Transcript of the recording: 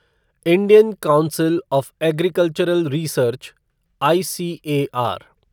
Indian council of agricultural research ICAR